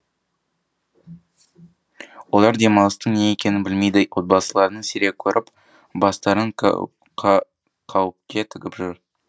олар демалыстың не екенін білмейді отбасыларын сирек көріп бастарын қауіпке тігіп жүр